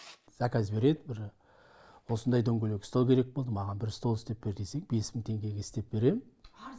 заказ береді бір осындай дөңгелек стол керек болды маған бір стол істеп бер десең бес мың теңгеге істеп берем